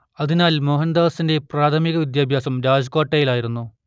അതിനാൽ മോഹൻദാസിന്റെ പ്രാഥമിക വിദ്യാഭ്യാസം രാജ്കോട്ടിലായിരുന്നു